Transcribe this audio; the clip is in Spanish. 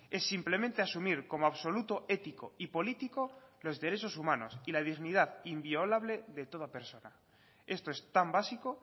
es simplemente asumir como absoluto ético y político los derechos humanos y la dignidad inviolable de toda persona esto es tan básico